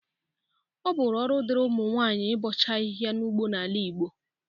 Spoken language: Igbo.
Ọ bụrụ ọrụ dịri ụmụnwaayi ịbọcha ahihia n'ugbo n'Igbo gboo.